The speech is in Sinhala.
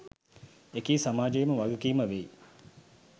එකී සමාජයේම වගකීම වෙයි